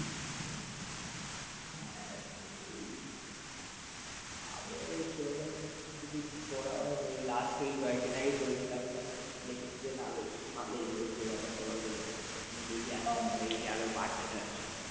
আমিও সেরকম কিছু করা হয়নি লাস্টে ওই কয়েকদিন আগে করেছিলাম দেখলাম না বেশ ভালই হয়েছে। ব্যাপার স্যাপারগুলো দেখি একটা সময় গিয়ে আরো বাড়ছে বাড়ছে।